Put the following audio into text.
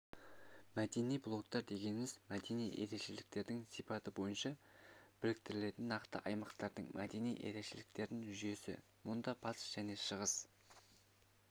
мәдени блоктар дегеніміз мәдени ерекшеліктердің сипаты бойынша біріктірілетін нақты аймақтардың мәдени ерекшеліктерінің жүйесі мұнда батыс және шығыс